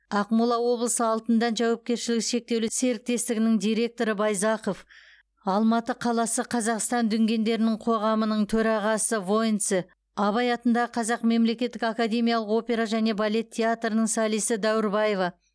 ақмола облысы алтындән жауапкершілігі шектеулі серіктестігінің директоры байзақов алматы қаласы қазақстан дүнгендерінің қоғамының төрағасы войнце абай атындағы қазақ мемлекеттік академиялық опера және балет театрының солисі дәуірбаева